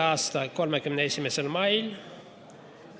a 31. mail.